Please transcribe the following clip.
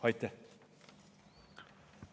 Aitäh!